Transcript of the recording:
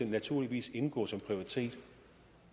naturligvis indgå som en prioritet